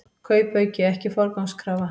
Kaupauki ekki forgangskrafa